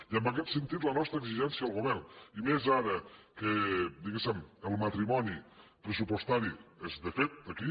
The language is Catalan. i en aquest sentit la nostra exigència al govern i més ara que diguéssem el matrimoni pressupostari és de fet aquí